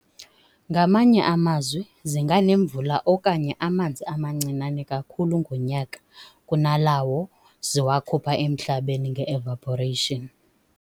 Ngamanye amazwi, zinganemvula okanye amanzi amancinane kakhulu ngonyaka kunalawo ziwakhupha emhlabeni ngeevaporation".